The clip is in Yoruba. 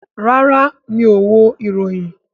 Rárá, mi ò wo ìròyìn